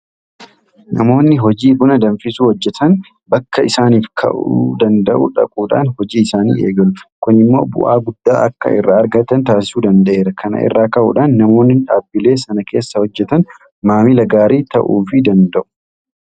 Namoonni hojii buna danfisuu hojjetan bakka isaaniif ka'uu danda'u dhaquudhaan hojii isaanii eegalu. Kun immoo bu'aa guddaa akka irraa argatan taasisuu danda'eera. Kana irraa ka'uudhaan namoonni dhaabbilee sana keessa hojjetan maamila gaarii ta'uufi danda'u.